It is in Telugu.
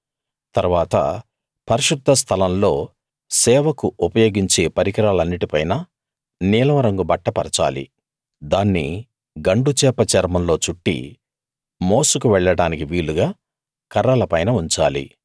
తరువాత పరిశుద్ధ స్థలంలో సేవకు ఉపయోగించే పరికరాలన్నిటి పైనా నీలం రంగు బట్ట పరచాలి దాన్ని గండుచేప చర్మంలో చుట్టి మోసుకు వెళ్ళడానికి వీలుగా కర్రల పైన ఉంచాలి